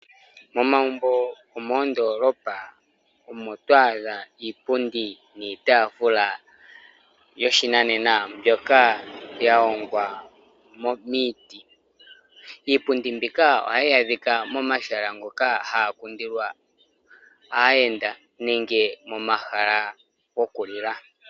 Momagumbo gomoondolopa omo twaadha iipundi niitaafula yoshinanena mbyoka yahongwa miiti, iipundi mbika ohayi adhika momahala ngoka haga kundilwa aayenda nenge momahala gokulila.